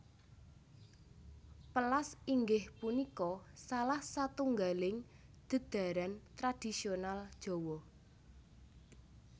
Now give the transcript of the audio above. Pèlas inggih punika salah satunggaling dhedharan tradisional Jawa